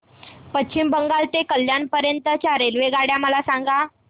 पश्चिम बंगाल ते कल्याण पर्यंत च्या रेल्वेगाड्या मला सांगा